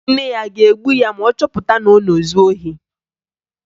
Nne ya a ga-egbu ya ma ọ chọpụta na ọ na-ezu ohi?